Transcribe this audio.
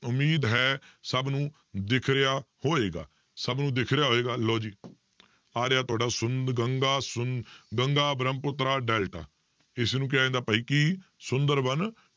ਉਮੀਦ ਹੈ ਸਭ ਨੂੰ ਦਿਖ ਰਿਹਾ ਹੋਏਗਾ, ਸਭ ਨੂੰ ਦਿਖ ਰਿਹਾ ਹੋਏਗਾ ਲਓ ਜੀ ਆ ਰਿਹਾ ਤੁਹਾਡਾ ਸੁੰਦ~ ਗੰਗਾ ਸੁੰ~ ਗੰਗਾ ਬ੍ਰਹਮਪੁੱਤਰਾ ਡੈਲਟਾ ਇਸਨੂੰ ਕਿਹਾ ਜਾਂਦਾ ਭਾਈ ਕੀ ਸੁੰਦਰ ਬਨ